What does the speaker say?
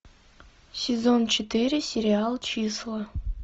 сезон четыре сериал числа